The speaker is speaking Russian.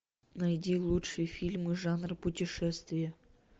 найди лучшие фильмы жанра путешествие